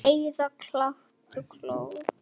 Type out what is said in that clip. Heiða kinkaði kolli.